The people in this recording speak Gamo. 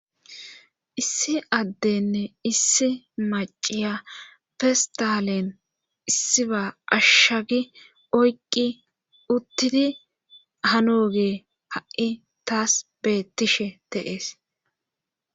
issi addenne issi maciya festalen issiba ashshagi oyqqi uttidi hanoge ha7i taas beettishe teees